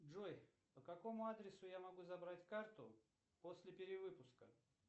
джой по какому адресу я могу забрать карту после перевыпуска